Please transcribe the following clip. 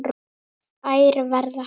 Þær verða hærri.